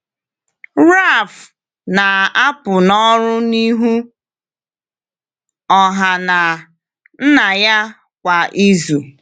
Ralph na-apụ n’ọrụ n’ihu ọha na nna ya kwa izu.